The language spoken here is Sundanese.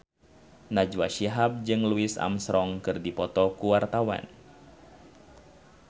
Najwa Shihab jeung Louis Armstrong keur dipoto ku wartawan